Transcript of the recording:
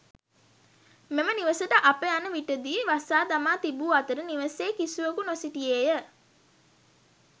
මෙම නිවසට අප යන විටදී වසා දමා තිබූ අතර නිවසේ කිසිවකු නොසිටියේය.